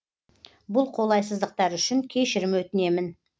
бұл қолайсыздықтар үшін кешірім өтінемін